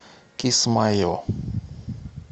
кисмайо